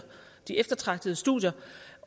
eftertragtede studier